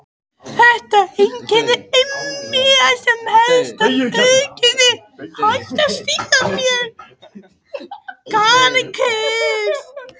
Þetta einkenni er einmitt eitt helsta auðkenni grindhvalsins.